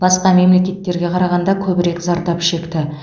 басқа мемлекеттеріне қарағанда көбірек зардап шекті